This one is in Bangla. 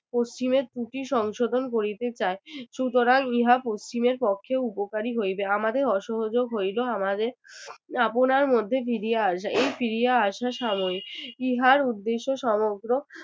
পশ্চিমের ত্রুটি সংশোধন করিতে চায় সুতরাং ইহা পশ্চিমের পক্ষে উপকারী হইবে আমাদের অসহযোগ হইলেও আমাদের আপনার মধ্যে ফিরিয়া আসা এই ফিরিয়া আসা সাময়িক ইহার উদ্দেশ্য সমগ্র